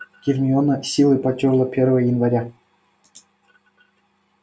гермиона с силой потёрла первое января